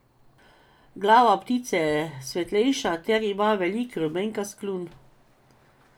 Glava ptice je svetlejša ter ima velik rumenkast kljun.